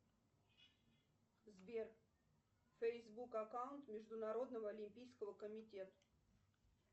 сбер фейсбук аккаунт международного олимпийского комитета